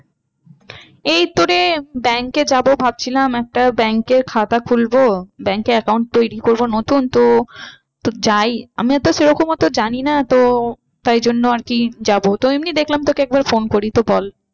এই তো রে bank এ যাবো ভাবছিলাম একটা bank এর খাতা খুলবো। bank এ account তৈরী করবো নতুন তো, তো যাই আমি তো সেরকম তো জানি না তো তাই জন্য আর কি যাবো। তো এমনি দেখলাম তোকে একবার phone করি। তো বল